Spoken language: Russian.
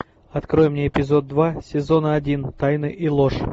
открой мне эпизод два сезона один тайны и ложь